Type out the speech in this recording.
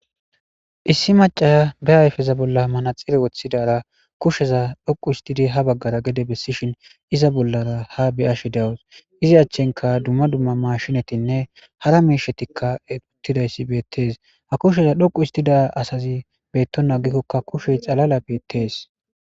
issi macaya be ayfeza bolla manaxire woththidara kusheza dhoqu histidi ha baggara gede bessishin iza bollara ha beyashe dawus izi achchenka dumma dumma mashinatinne hara miishetikka uttidayssi beettees ha kusheza dhoqu istida asazi beettoagikkokka kushe xalala beettees